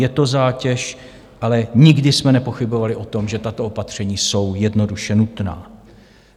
Je to zátěž, ale nikdy jsme nepochybovali o tom, že tato opatření jsou jednoduše nutná.